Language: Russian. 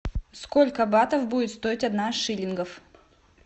сколько батов будет стоить одна шиллингов